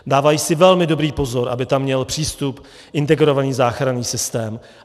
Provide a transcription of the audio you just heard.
Dávají si velmi dobrý pozor, aby tam měl přístup integrovaný záchranný systém.